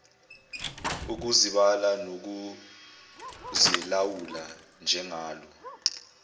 ukuzibala nokuzilawula njengalo